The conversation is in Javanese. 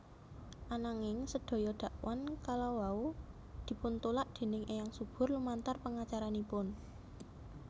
Ananging sedaya dakwan kalawau dipuntulak déning Eyang Subur lumantar pengacaranipun